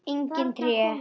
Engin tré, ekkert gras.